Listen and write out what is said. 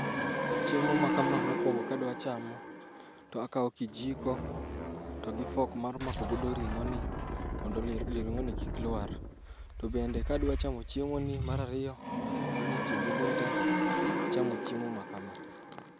Chiemo makama mokuongo kadwa chamo, to akawo kijiko to gi fork mar mako go ring'oni mondo ring'oni kik lwar. To bende kadwa chamo ring'oni mar ariyo, anyalo tiyo gi lweta e chamo chiemo makama.